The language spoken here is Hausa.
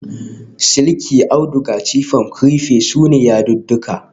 Silki, auduga, chiffon, crepe su ne yadudduka